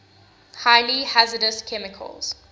highly hazardous chemicals